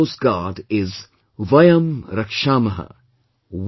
The motto of Coast Guard is 'Vayam Rakshaamaha